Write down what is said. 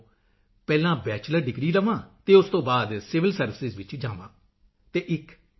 ਤੋਂ ਪਹਿਲਾਂ bachelor degree ਲਵਾਂ ਅਤੇ ਉਸ ਤੋਂ ਬਾਅਦ ਸਿਵਿਲ ਸਰਵਿਸਾਂ ਵਿੱਚ ਜਾਵਾਂ ਅਤੇ ਇਕ ਆਈ